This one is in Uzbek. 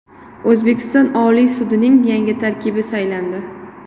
O‘zbekiston Oliy sudining yangi tarkibi saylandi.